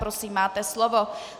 Prosím, máte slovo.